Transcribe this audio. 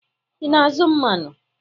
Ị na-azụ mmanụ?